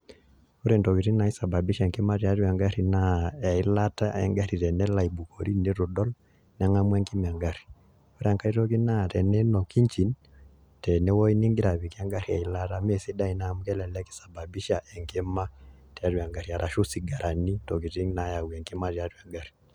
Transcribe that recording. Ore ntokiting naisababisha enkima tiatua egarri naa, eilata egarri tenelo aibukori nitu idol, neng'amu enkima egarri. Ore enkae toki naa teniinok engine, tenewoi nigira apikie egarri eilata. Amu mesidai ina amu kelelek isababisha enkima tiatua egarri, arashu sigarani ntokiting nayau enkima tiatua egarri.